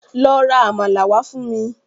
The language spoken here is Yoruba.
Lọ ra àmàlà wá fún mi